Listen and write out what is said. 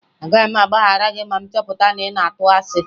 Agaghị m agbaghara gị ma m chọpụta na ị na-atụ asị